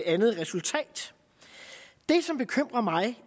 andet resultat det som bekymrer mig